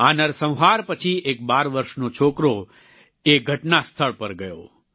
આ નરસંહાર પછી એક બાર વર્ષનો છોકરો એક ઘટના સ્થળ પર ગયો